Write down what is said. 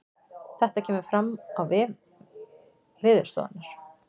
Þetta kemur fram á vef veðurstofunnar